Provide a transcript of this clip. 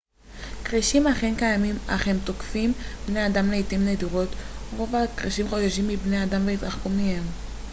כרישים אכן קיימים אך הם תוקפים בני אדם לעתים נדירות רוב הכרישים חוששים מבני אדם ויתרחקו מהם